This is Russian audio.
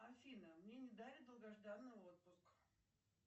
афина мне не дали долгожданный отпуск